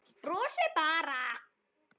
Brosir bara.